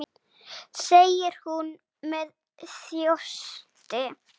segir hún með þjósti.